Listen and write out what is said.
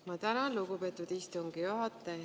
Ma tänan, lugupeetud istungi juhataja!